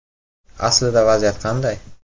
Aslida vaziyat qanday?